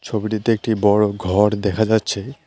ছবিটিতে একটি বড়ো ঘর দেখা যাচ্ছে।